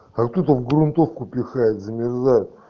откуда в грунтовку пихает замерзай